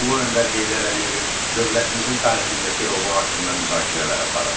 Ulu öndər Heydər Əliyevin dövlətimizin tarixindəki rolu haqqında müzakirələr aparın.